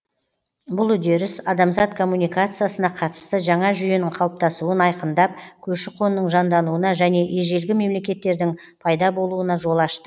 бұл үдеріс адамзат коммуникациясына қатысты жаңа жүйенің қалыптасуын айқындап көші қонның жандануына және ежелгі мемлекеттердің пайда болуына жол ашты